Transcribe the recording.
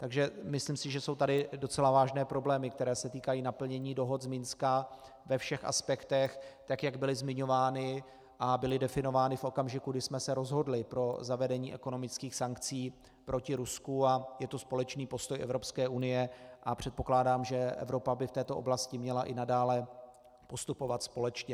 Takže si myslím, že jsou tady docela vážné problémy, které se týkají naplnění dohod z Minska ve všech aspektech, tak jak byly zmiňovány a byly definovány v okamžiku, kdy jsme se rozhodli pro zavedení ekonomických sankcí proti Rusku, a je to společný postoj Evropské unie a předpokládám, že Evropa by v této oblasti měla i nadále postupovat společně.